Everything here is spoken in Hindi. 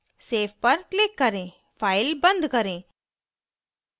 save पर click करें file बंद करें